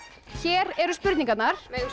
hér eru spurningarnar megum